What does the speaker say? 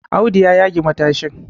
Audu ya yage matashin